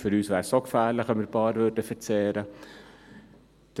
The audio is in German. Für uns wäre es auch gefährlich, wenn wir ein paar verzehren würden.